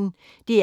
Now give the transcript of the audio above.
DR P1